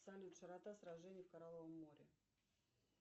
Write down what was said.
салют широта сражений в коралловом море